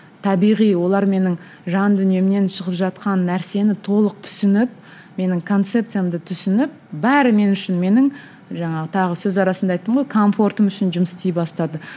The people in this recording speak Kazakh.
табиғи олар менің жан дүниемнен шығып жатқан нәрсені толық түсініп менің концепциямды түсініп бәрі мен үшін менің жаңағы тағы сөз арасында айттым ғой комфортым үшін жұмыс істей бастады